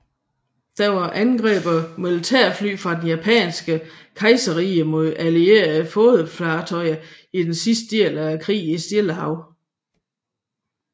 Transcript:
Det var angreb af militærfly fra det japanske kejserrige mod allierede flådefartøjer i den sidste del af krigen i Stillehavet